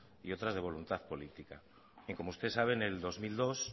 y otras de voluntad política y como usted sabe en el dos mil dos